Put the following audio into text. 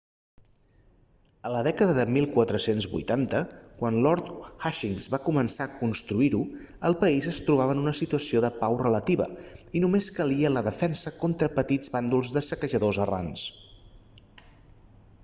a la dècada de 1480 quan lord hastings va començar a construir-ho el país es trobava en una situació de pau relativa i només calia la defensa contra petits bàndols de saquejadors errants